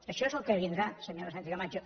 això és el que vindrà senyora sánchez camacho